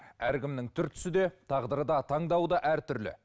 әркімнің түр түсі де тағдыры да таңдауы да әртүрлі